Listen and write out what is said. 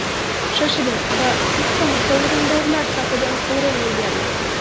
Shoshiling va siz ham sovrindorlar safidan o‘rin egallang!